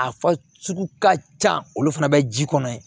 A fa sugu ka ca olu fana bɛ ji kɔnɔ yen